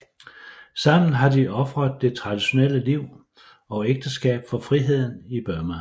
Sammen har de ofret det traditionelle liv og ægteskab for friheden i Burma